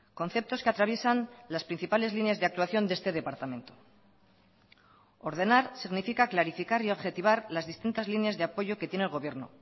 conceptos que atraviesan las principales líneas de actuación de este departamento ordenar significa clarificar y objetivar las distintas líneas de apoyo que tiene el gobierno